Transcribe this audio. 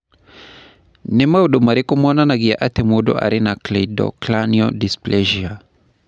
Nĩ maũndũ marĩkũ monanagia atĩ mũndũ arĩ na Cleidocranial dysplasia?